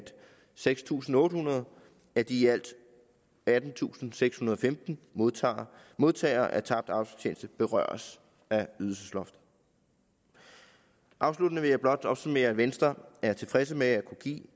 seks tusind otte hundrede af de i alt attentusinde og sekshundrede og femten modtagere modtagere af tabt arbejdsfortjeneste berøres af ydelsesloftet afsluttende vil jeg blot opsummere at venstre er tilfredse med at kunne give